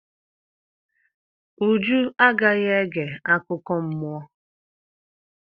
Uju agaghị ege akụkọ mmụọ.